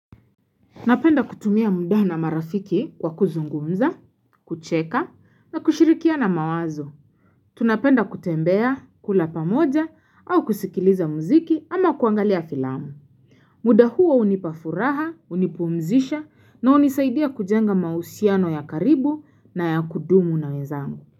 Napenda kutumia muda na marafiki kwa kuzungumza, kucheka na kushirikiana mawazo. Tunapenda kutembea, kula pamoja au kusikiliza mziki ama kuangalia filamu. Muda huo hunipafuraha, hunipumzisha na unisaidia kujenga mausiano ya karibu na ya kudumu na wezangu.